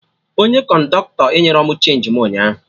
Onye kọndọktọ enyerọ m chenji mụ ụnyaahụ